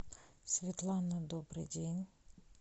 светлана добрый день